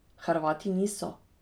Hrvati niso.